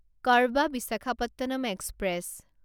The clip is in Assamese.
কৰবা বিশাখাপট্টনম এক্সপ্ৰেছ